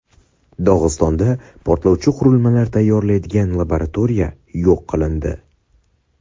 Dog‘istonda portlovchi qurilmalar tayyorlaydigan laboratoriya yo‘q qilindi .